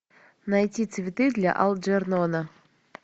найти цветы для элджернона